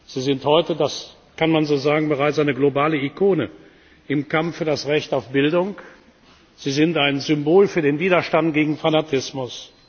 Sie sind heute das kann man so sagen bereits eine globale Ikone im Kampf für das Recht auf Bildung. Sie sind ein Symbol für den Widerstand gegen Fanatismus.